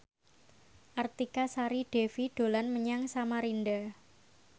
Artika Sari Devi dolan menyang Samarinda